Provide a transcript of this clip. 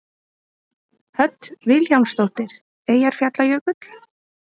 Hödd Vilhjálmsdóttir: Eyjafjallajökull?